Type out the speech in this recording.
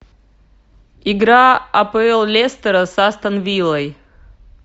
игра апл лестера с астон виллой